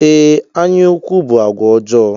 Ee, ányá ukwu bụ àgwà ọjọọ.